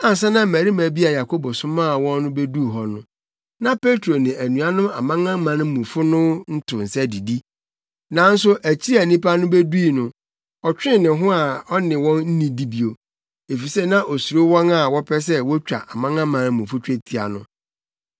Ansa na mmarima bi a Yakobo somaa wɔn no beduu hɔ no, na Petro ne anuanom amanamanmufo no to nsa didi. Nanso akyiri a nnipa no bedui no, ɔtwee ne ho a ɔne wɔn annidi bio, efisɛ na osuro wɔn a wɔpɛ sɛ wotwa amanamanmufo twetia no.